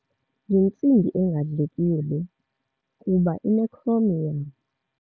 Yintsimbi engadlekiyo le kuba inekhromiyamu.